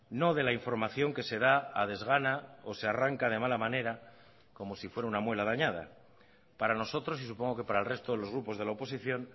no de la información que se da a desgana o se arranca de mala manera como si fuera una muela dañada para nosotros y supongo que para el resto de los grupos de la oposición